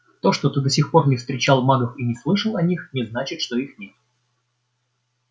то что ты до сих пор не встречал магов и не слышал о них не значит что их нет